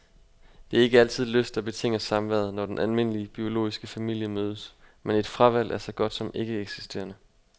Det er ikke altid lyst, der betinger samværet, når den almindelige, biologiske familie mødes, men et fravalg er så godt som ikke eksisterende.